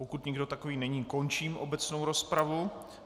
Pokud nikdo takový není, končím obecnou rozpravu.